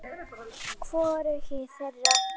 Hvorugu þeirra.